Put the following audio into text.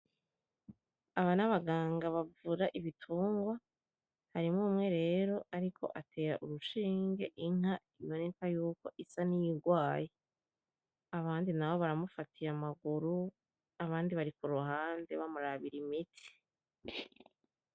Aba nabaganga bavura ibitungwa ,harimwo umwe rero ariko atera urushinge inka iboneka yuko isa n’iyirwaye abandi nabo baramufatiye amaguru abandi bari kuruhande bamurabira imiti.